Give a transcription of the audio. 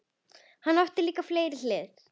Hann átti líka fleiri hliðar.